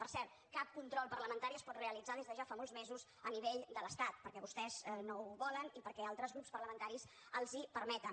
per cert cap control parlamentari es pot realitzar des de ja fa molts mesos a nivell de l’estat perquè vostès no ho volen i perquè altres grups parlamentaris els ho permeten